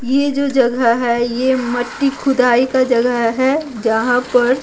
ये जो जगह है ये मट्टी खुदाई का जगह है जहाँ पर --